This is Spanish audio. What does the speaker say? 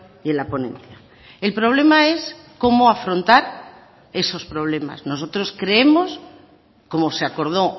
y en la ponencia el problema es cómo afrontar esos problemas nosotros creemos como se acordó